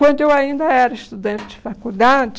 Quando eu ainda era estudante de faculdade...